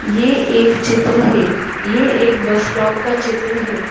ये एक चित्र है ये एक बस स्टॉप का चित्र है।